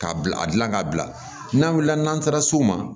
K'a bila a dilan ka bila n'an wulila n'an taara s'u ma